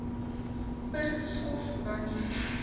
per skof wanneer